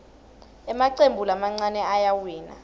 emacembu lamancane ayawina